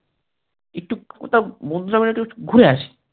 একটি কোথাও বন্ধুরা মিলে একটু ঘুরে আসি